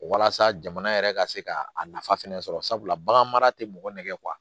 Walasa jamana yɛrɛ ka se ka a nafa fɛnɛ sɔrɔ sabula bagan mara tɛ mɔgɔ nɛgɛ